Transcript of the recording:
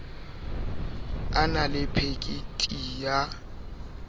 a na le phekiti ya